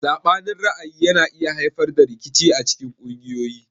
Sabanin ra'ayi yana iya haifar da rikici acikin kungiyoyi.